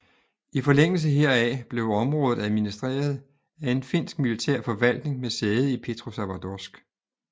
I forlængelse heraf blev området administreret af en finsk militær forvaltning med sæde i Petrosavodsk